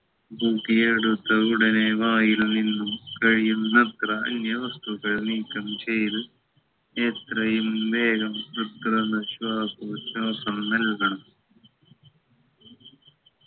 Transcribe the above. തൂക്കിയെടുത്ത ഉടനെ വായിൽ നിന്നും കഴിയുന്നത്ര അന്യ വസ്തുക്കൾ നീക്കം ചെയ്ത് എത്രയും വേഗം കൃത്രിമ ശ്വാസോച്ഛാസം നൽകണം